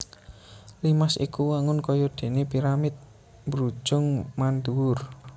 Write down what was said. Limas iku wangun kaya déné piramid mbrujung mandhuwur